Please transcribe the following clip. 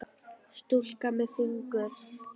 Stúlka með fingur.